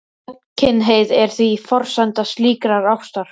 Gagnkynhneigð er því forsenda slíkrar ástar.